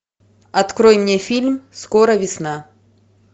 открой мне фильм скоро весна